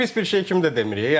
Yəni bu pis bir şey kimi də demirik.